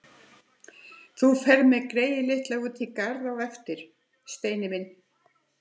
Þú ferð með greyið litla út í garð á eftir, Steini minn!